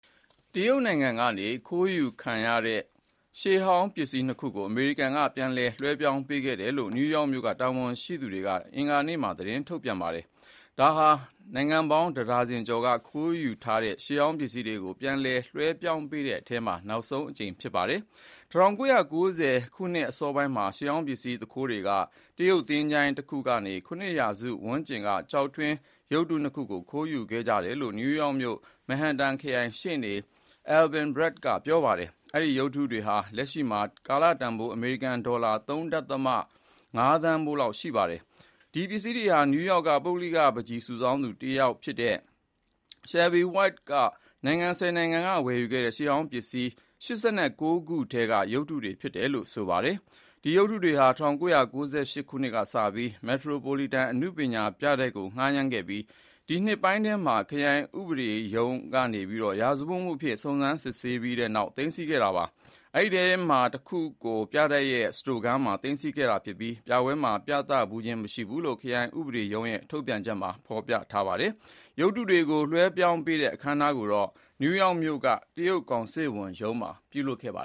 တရုတ်နိုင်ငံကနေခိုးယူခံခဲ့ရတဲ့ ရှေးဟောင်းပစ္စည်းနှစ်ခုကို အမေရိကန်ကပြန်လည် လွှဲပြောင်းပေးခဲ့တယ်လို့ နယူးယောက်မြို့ တာဝန်ရှိသူတွေက အင်္ဂါနေ့က သတင်း ထုတ်ပြန်ခဲ့ပါတယ်။ ဒါဟာ နိုင်ငံပေါင်းတဒါဇင်ကျော်ကခိုးယူခံထားတဲ့ ရှေးဟောင်းပစ္စည်းတွေကို ပြန်လည်လွှဲပြောင်းပေးတဲ့အထဲမှာ နောက်ဆုံးအကြိမ် ဖြစ်ပါတယ်။ ၁၉၉၀ ပြည့်အစောပိုင်းနှစ်တွေမှာ ရှေးဟောင်းပစ္စည်းသူခိုးတွေက တရုတ်သင်္ချိုင်းတခုကနေ ၇ ရာစုဝန်းကျင်က ကျောက်ထွင်းရုပ်တုနှစ်ခုကို ခိုးယူခဲ့ကြတယ်လို့ နယူးယောက်မြို့ မက်ဟင်တန်ခရိုင် ရှေ့နေ Alvin Bragg က ပြောပါတယ်။ အဲ့ဒီရုပ်တုတွေဟာ လက်ရှိမှာ ကာလတန်ဖိုး အမေရိကန်ဒေါ်လာ ၃.၅ သန်းတန်ဖိုးရှိပါတယ်။ ဒီပစ္စည်းတွေဟာ နယူးယောက်က ပုဂ္ဂလိကပန်းချီစုဆောင်းသူတယောက်ဖြစ်တဲ့ Shelby White က နိုင်ငံ ၁၀ နိုင်ငံ က ဝယ်ယူခဲ့တဲ့ ရှေးဟောင်းပစ္စည်း ၈၉ ခု ထဲက ရုပ်တုတွေဖြစ်တယ်လို့ ဆိုပါတယ်။ ဒီရုပ်တုတွေကို ၁၉၉၈ ခုနှစ်ကစပြီး မက်ထရိုပိုလီတန် အနုပညာပြတိုက်ကို ငှားရမ်းခဲ့ရာက ဒီနှစ်ပိုင်းထဲမှာ ခရိုင်ဥပဒေရုံးက ရာဇဝတ်မှုအဖြစ် စုံစမ်းစစ်ဆေးပြီးနောက်ပိုင်း သိမ်းဆည်းခဲ့တာပါ။ အဲဒီထဲက တခုကို ပြတိုက်ရဲ့ စတိုခန်းထဲမှာ သိမ်းဆည်းထားပြီး ပြပွဲမှာ ပြသဖူးခြင်းမရှိဘူးလို့ ခရိုင်ဥပဒေရုံးရဲ့ထုတ်ပြန်ချက်မှာ ဖော်ပြထားပါတယ်။ ရုပ်တုတွေကို လွှဲပြောင်းပေးတဲ့ အခမ်းအနားကိုတော့ နယူးယော့ခ်မြို့က တရုတ်ကောင်စစ်ဝန်ရုံးမှာ ပြုလုပ်ခဲ့တာပါ